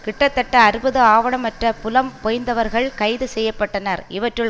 கிட்டத்தட்ட அறுபது ஆவணமற்ற புலம்பெயர்ந்தவர்கள் கைது செய்ய பட்டனர் இவற்றுள்